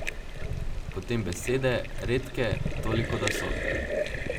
Potem besede, redke, toliko, da so.